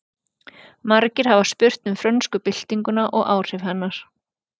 Margir hafa spurt um frönsku byltinguna og áhrif hennar.